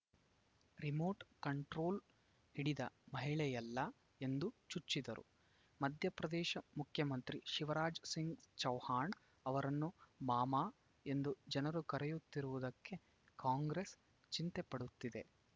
remote control ಹಿಡಿದ ಮಹಿಳೆಯಲ್ಲ ಎಂದು ಚುಚ್ಚಿದರು ಮಧ್ಯಪ್ರದೇಶ ಮುಖ್ಯಮಂತ್ರಿ ಶಿವರಾಜ ಸಿಂಗ್‌ ಚೌಹಾಣ್‌ ಅವರನ್ನು ಮಾಮ ಎಂದು ಜನರು ಕರೆಯುತ್ತಿರುವುದಕ್ಕೆ ಕಾಂಗ್ರೆಸ್‌ ಚಿಂತೆ ಪಡುತ್ತಿದೆ